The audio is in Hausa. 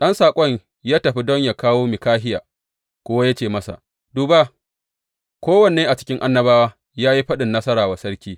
Ɗan saƙon da ya tafi don yă kawo Mikahiya kuwa ya ce masa, Duba, kowannen a cikin annabawa ya yi faɗin nasara wa sarki.